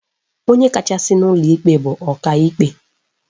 Onye kachasị n'ụlọ ikpe bụ Ọkaikpe